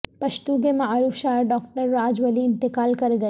پشتو کے معروف شاعرڈاکٹر راج ولی انتقال کر گئے